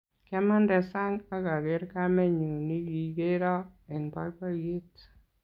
Kiamande sang akaker kamenyu nikikero eng boiboyet